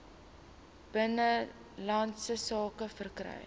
binnelandse sake verkry